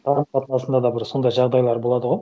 қарым қатынасында да сондай жағдайлар болады ғой